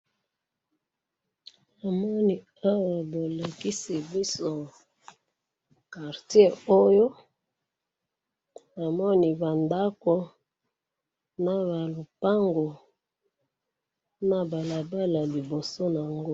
Namoni awa bolakisi biso quartier oyo ,namoni ba ndako na ba lopango na balabala liboso na'ngo